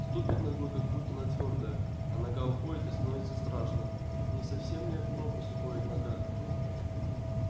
ступит ногой как будто на твёрдое а нога уходит и становится страшно не совсем ли в пропасть уходит нога